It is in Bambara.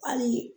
Hali